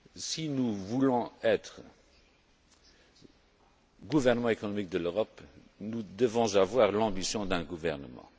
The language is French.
Si nous voulons être le gouvernement économique de l'Europe, nous devons avoir l'ambition d'un gouvernement.